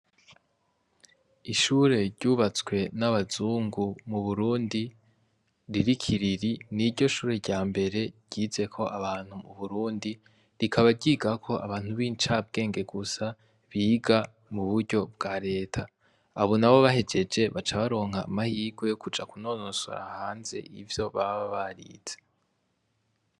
Ishure ryubatswe n'abazungu mu Burundi riri ikiriri niryo shure rya mbere ryizeko abantu mu Burundi rikaba ryigako abantu b'incabwenge gusa biga mu buryo bwa Leta, abo nabo bahejeje baca baronka amahirwe yo Kuja kunonosora hanze ivyo baba barize.